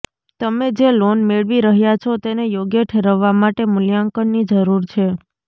તમે જે લોન મેળવી રહ્યાં છો તેને યોગ્ય ઠેરવવા માટે મૂલ્યાંકનની જરૂર છે